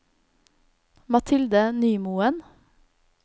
Mathilde Nymoen